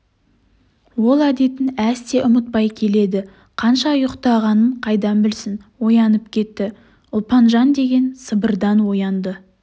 ол әдетін әсте ұмытпай келеді қанша ұйықтағанын қайдан білсін оянып кетті ұлпанжан деген сыбырдан оянды